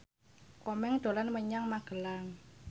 Komeng dolan menyang Magelang